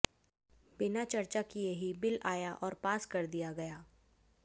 बिना चर्चा किए ही बिल आया और पास कर दिया गया